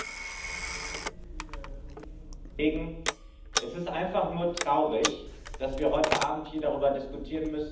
Es ist einfach nur traurig, dass wir heute Abend hier darüber diskutieren müssen, dass in Polen schwulenfeindliche Propaganda betrieben wird.